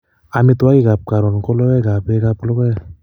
Amitwogikap karon ko logoek ak pekap logoek